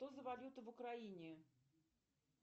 что за валюта в украине